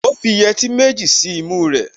Ó fi yẹtí méjì sí imú rẹ̀